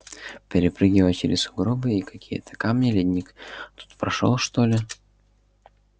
перепрыгивая через сугробы и какие-то камни ледник тут прошёл что ли или кто-то в сад камней играл я выбрался на проспект